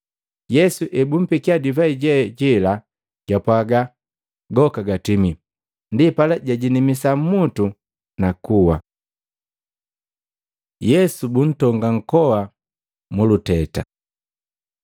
Yesu ebumpekia divai je jela, japwaaga, “Goka gatimie!” Ndipala jajinamisa mmutu, nakuwa. Yesu buntonga nkoa muluteta